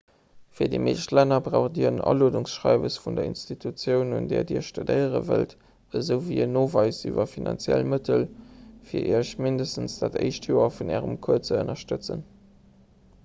fir déi meescht länner braucht dir en aluedungsschreiwes vun der institutioun un där dir studéiere wëllt esouwéi een noweis iwwer d'finanziell mëttel fir iech mindestens dat éischt joer vun ärem cours ze ënnerstëtzen